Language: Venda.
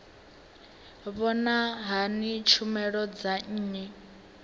vhona hani tshumelo dza nnyi